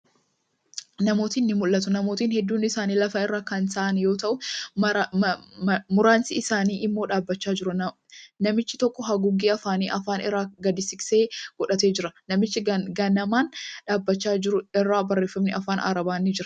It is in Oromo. Namootni ni mul'atu. Namootni hedduun isaanii lafa irra kan taa'an yoo ta'u, muraasni isaanii immoo dhaabbachaa jiru. Namichi tokko haguuggee afaanii, afaan irraa gadi siqsee godhatee jira. Namicha gamanaan dhaabbachaa jiru irra barreeffamni afaan Arabaa ni jira.